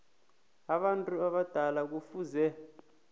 abantu abadala kufuze